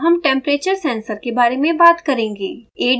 अब हम temperature sensor के बारे में बात करेंगे